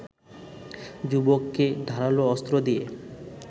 যুবককে ধারালো অস্ত্র দিয়ে